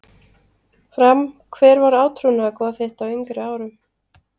Fram Hver var átrúnaðargoð þitt á yngri árum?